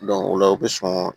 o la u bɛ sɔn